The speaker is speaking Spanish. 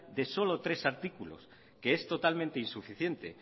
de solo tres artículos que es totalmente insuficiente